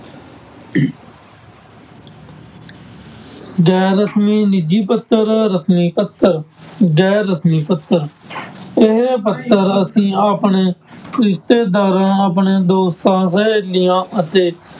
ਗੈਰ ਰਸ਼ਮੀ, ਨਿੱਜੀ ਪੱਤਰ, ਰਸ਼ਮੀ ਪੱਤਰ, ਗੈਰ ਰਸ਼ਮੀ ਪੱਤਰ ਇਹ ਪੱਤਰ ਅਸੀਂ ਆਪਣੇ ਰਿਸ਼ਤੇਦਾਰਾਂ ਆਪਣੇ ਦੋਸਤਾਂ, ਸਹੇਲੀਆਂ ਅਤੇ